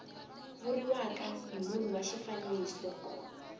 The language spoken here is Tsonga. vuriwaka hi munhu wa xifaniso